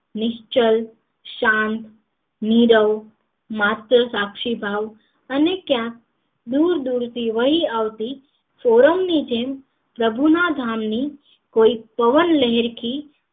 નિશ્ચલ શાંત નીરવ માત્ર સાક્ષીભાવ અને ક્યાંક દૂર દૂર થી આવતી સોડમ નિ જેમ પ્રભુ ના ધામ ની પવનલહેરખી